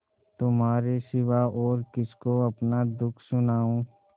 तुम्हारे सिवा और किसको अपना दुःख सुनाऊँ